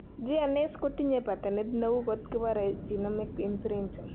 Gnas kotinye Paternit neu kot kipore genomic imprinting.